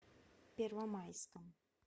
первомайском